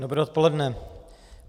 Dobré odpoledne.